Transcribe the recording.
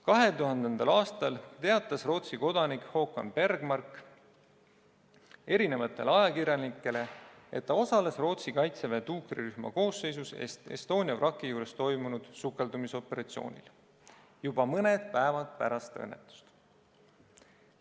2000. aastal teatas Rootsi kodanik Håkan Bergmark ajakirjanikele, et ta osales Rootsi kaitseväe tuukrirühma koosseisus Estonia vraki juures toimunud sukeldumisoperatsioonil juba mõni päev pärast õnnetust.